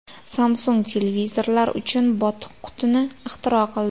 Samsung televizorlar uchun botiq qutini ixtiro qildi.